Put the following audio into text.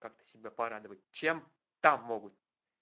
как-то себя порадовать чем там могут